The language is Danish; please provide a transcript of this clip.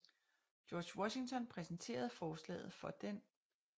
George Washington præsenterede forslaget for den 2